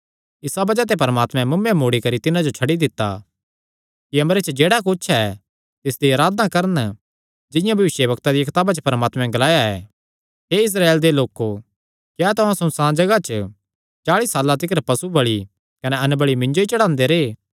इसा बज़ाह ते परमात्मैं मुँऐ मोड़ी करी तिन्हां जो छड्डी दित्ता कि अम्बरे च जेह्ड़ा कुच्छ ऐ तिसदी अराधना करन जिंआं भविष्यवक्ता दिया कताबा च परमात्मे ग्लाया ऐ हे इस्राएल दे लोको क्या तुहां सुनसाण जगाह चाल़ी साल्लां तिकर पशु बल़ि कने अन्नबलि मिन्जो ई चढ़ांदे रैह्